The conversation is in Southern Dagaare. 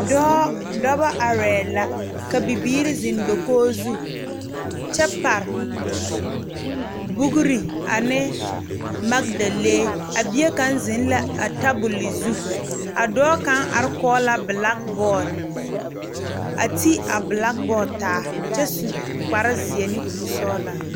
Dɔɔ dɔbɔ arɛɛ la ka bibiire zeŋ dokoge zu kyɛ pare boogre a ane magdalee a bie kaŋ zeŋ la a tabole zu a dɔɔ kaŋ are kɔge la blakbɔɔd a ti a blakbɔɔd taa kyɛ su kparezeɛ ne kurisɔglaa.